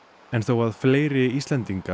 en þó að fleiri Íslendingar